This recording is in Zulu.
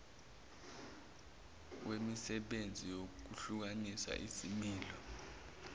wemisebenzi yokuhlumisa izimilo